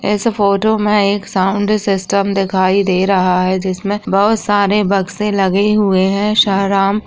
इस फोटो मे एक साउन्ड सिस्टम दिखाई दे रहा है जिसमे बहुत सारे बक्से लगे हुए है --